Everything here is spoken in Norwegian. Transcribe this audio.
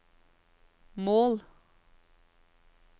mål